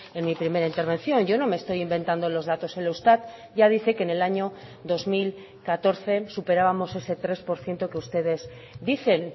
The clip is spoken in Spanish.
en mi primera intervención yo no me estoy inventando los datos el eustat ya dice que en el año dos mil catorce superábamos ese tres por ciento que ustedes dicen